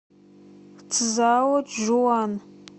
цзаочжуан